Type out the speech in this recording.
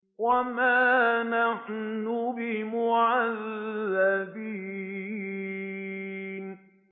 وَمَا نَحْنُ بِمُعَذَّبِينَ